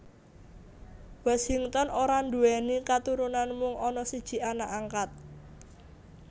Washington ora nduwèni katurunan mung ana siji anak angkat